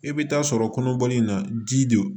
E bɛ taa sɔrɔ kɔnɔbɔli in na ji de don